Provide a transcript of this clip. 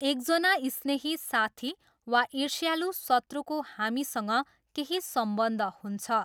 एकजना स्नेही साथी वा इर्ष्यालु शत्रुको हामीसँग केही सम्बन्ध हुन्छ।